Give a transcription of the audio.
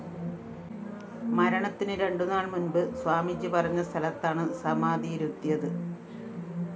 മരണത്തിന് രണ്ടുനാള്‍ മുന്‍പ് സ്വാമിജി പറഞ്ഞസ്ഥലത്താണ് സമാധിയിരുത്തിയത്